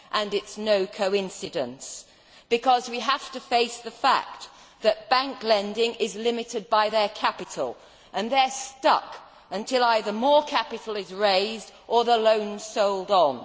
It is no coincidence. Because we have to face the fact that bank lending is limited by their capital and they are stuck until either more capital is raised or the loan sold on.